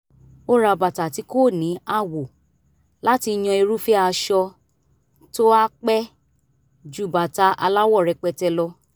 ó ra bàtà tí kò ní àwò láti yan irúfẹ́ aṣọ tó á pẹ́ ju bàtà aláwọ̀ rẹpẹtẹ lọ